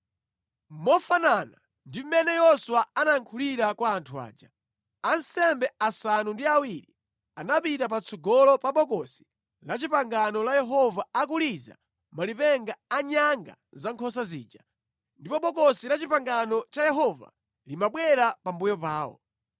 Mofanana ndi mmene Yoswa anayankhulira kwa anthu aja, ansembe asanu ndi awiri anapita patsogolo pa Bokosi la Chipangano la Yehova akuliza malipenga a nyanga za nkhosa zija, ndipo Bokosi la Chipangano cha Yehova limabwera pambuyo pawo.